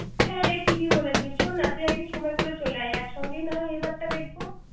হ্যাঁরে ঠিকই বলেছিস শোন না তুই একদিন সময় করে চলে আয় একসঙ্গে না হয় এই বার দেখব